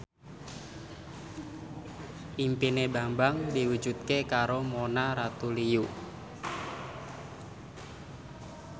impine Bambang diwujudke karo Mona Ratuliu